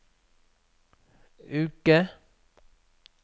uke